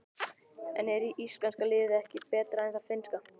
En er íslenska liðið ekki betra en það finnska?